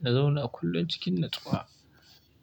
na zauna kullum cikin natsuwa.